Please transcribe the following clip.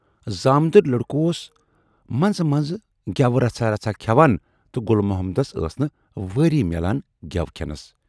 زامتٕرۍ لٔڑکہٕ اوس منزٕ منزٕ گٮ۪وٕ رژھا رژھا کھٮ۪وان تہٕ گُل محمدس ٲس نہٕ وٲرۍ میلان گٮ۪و کھٮ۪نَس۔